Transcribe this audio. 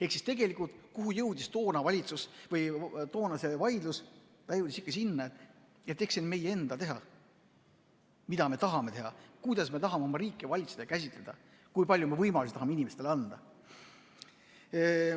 Ehk tegelikult, kuhu jõudis toona see vaidlus: ikka sinna, et see on meie enda teha, mida me tahame teha, kuidas me tahame oma riiki valitseda, kui palju võimalusi tahame inimestele anda.